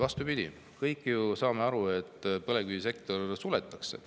Vastupidi, kõik me ju saame aru, et põlevkivisektor suletakse.